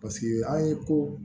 Paseke an ye ko